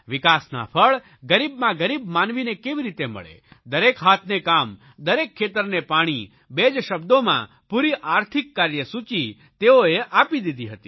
વિકાસના ફળ ગરીબમાં ગરીબ માનવીને કેવી રીતે મળે દરેક હાથને કામ દરેક ખેતરને પાણી બે જ શબ્દોમાં પૂરી આર્થિક કાર્યસૂચિ તેઓએ આપી દીધી હતી